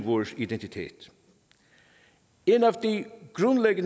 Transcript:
vores identitet et